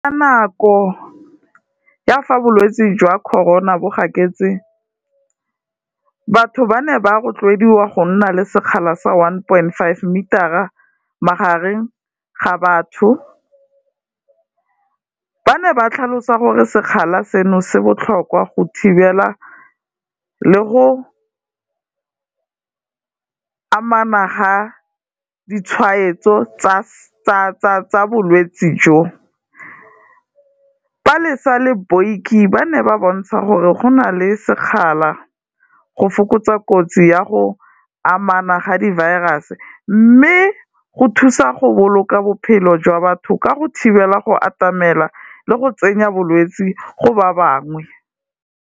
Ka nako ya fa bolwetsi jwa Corona bo gaketse, batho ba ne ba rotloediwa go nna le sekgala sa one point five meter-a magareng ga batho, ba ne ba tlhalosa gore sekgala seno se botlhokwa go thibela le go amana ga ditshwaetso tsa bolwetsi jo. Palesa le Boikie ba ne ba bontsha gore go na le sekgala go fokotsa kotsi ya go amana ga di-virus-e, mme go thusa go boloka bophelo jwa batho ka go thibela go atamela le go tsenya bolwetsi go ba bangwe.